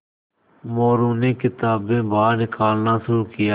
मोरू ने किताबें बाहर निकालना शुरू किया